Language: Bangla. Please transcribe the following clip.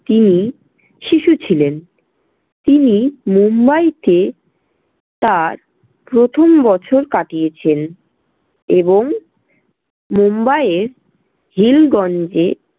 তিনি শিশু ছিলেন। তিনি মুম্বাইতে তার প্রথম বছর কাটিয়েছেন এবং মুম্বাইয়ের হিলগঞ্জে